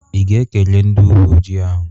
Ị ga-ekele ndị uwe ojii ahụ?